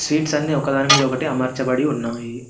Sweets అన్నీ ఒకదాని మీద ఒకటి అమర్చబడి ఉన్నవి.